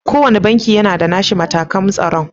Ko wanne banki yana da nashi matakan tsaro.